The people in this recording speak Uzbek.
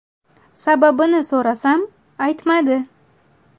Sababini so‘rasam, aytmadi.